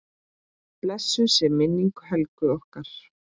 Blessuð sé minning Helgu okkar.